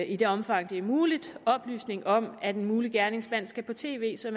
i det omfang det er muligt oplysninger om at en mulig gerningsmand skal på tv så